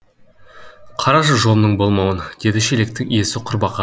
қарашы жолымның болмауын деді шелектің иесі құрбақаға қарап